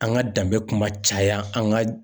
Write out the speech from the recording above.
An ka danbe kuma caya an ka